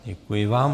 Děkuji vám.